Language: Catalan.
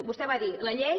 vostè va dir la llei